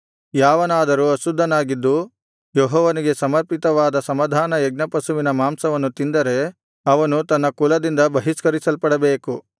ಯಾವನಾದರೂ ಅಶುದ್ಧನಾಗಿದ್ದು ಯೆಹೋವನಿಗೆ ಸಮರ್ಪಿತವಾದ ಸಮಾಧಾನ ಯಜ್ಞಪಶುವಿನ ಮಾಂಸವನ್ನು ತಿಂದರೆ ಅವನು ತನ್ನ ಕುಲದಿಂದ ಬಹಿಷ್ಕರಿಸಲ್ಪಡಬೇಕು